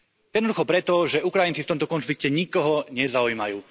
Jednoducho preto, že Ukrajinci v tomto konflikte nikoho nezaujímajú.